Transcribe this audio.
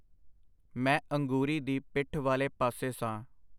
ਮੈਂ ਅੰਗੂਰੀ ਦੀ ਪਿੱਠ ਵਾਲੇ ਪਾਸੇ ਸਾਂ.